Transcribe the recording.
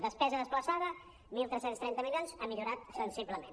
despesa desplaçada tretze trenta milions ha millorat sensiblement